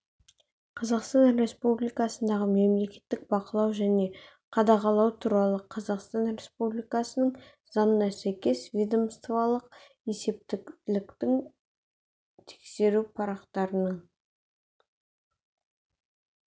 қазақстан республикасындағы мемлекеттік бақылау және қадағалау туралы қазақстан республикасының заңына сәйкес ведомстволық есептіліктің тексеру парақтарының